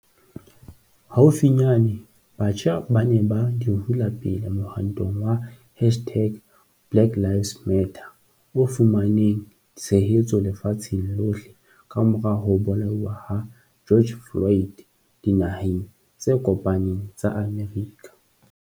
Haufinyane, batjha ba ne ba di hula pele mohwantong wa hashtag-BlackLivesMatter o fumaneng tshehetso lefatsheng lohle kamora ho bolauwa ha George Floyd Dinaheng tse Kopaneng tsa Amerika.